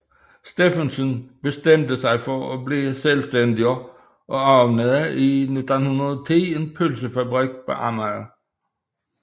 Steffensen bestemte sig for at blive selvstændig og åbnede i 1910 en pølsefabrik på Amager